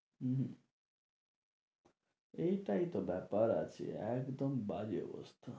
উম হম এইটাই তো ব্যাপার আছে, একদম বাজে অবস্থা।